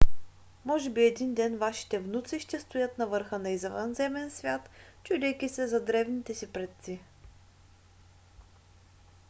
може би един ден вашите внуци ще стоят на върха на извънземен свят чудейки се за древните си предци?